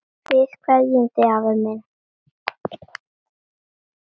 Við kveðjum þig, afi minn.